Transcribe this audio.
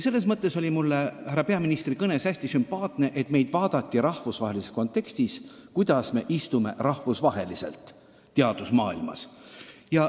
Selles mõttes oli härra peaministri kõnes hästi sümpaatne, et meid vaadati rahvusvahelises kontekstis, kus kohas me istume rahvusvahelises teadusmaailmas.